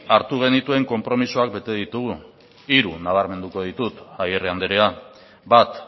hartu genituen konpromisoak bete ditugu hiru nabarmenduko ditut agirre andrea bat